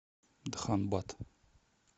дханбад